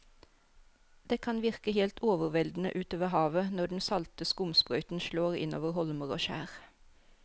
Det kan virke helt overveldende ute ved havet når den salte skumsprøyten slår innover holmer og skjær.